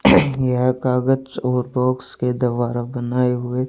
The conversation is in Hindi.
यह कागज और बॉक्स के द्वारा बनाए हुए--